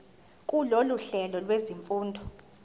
kulolu hlelo lwezifundo